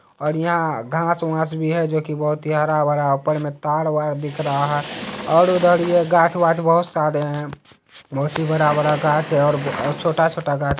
और यहाँ घास वास भी है जोकी बोहत हरा भरा ऊपर में तार वार दिख रहा है और उधर ये घास वास बोहत सारे है। बोहत ही बड़ा बड़ा घास है और छोटा छोटा घास --